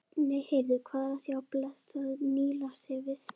Nei, heyrðu, hvað er að sjá blessað Nílarsefið!